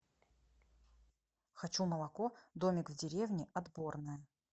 хочу молоко домик в деревне отборное